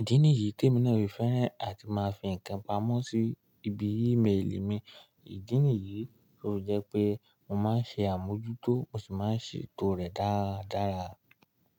Ìdí nìyíi tí èmi náà fi fẹ́ràn àti máa fi ǹkan pamọ́ sí ibi email mi. Ìdí nìyií to fi jẹ́ pé mo máa ń ṣe àmójútó, mo sì máa ń ṣètò rẹ̀ dáradára.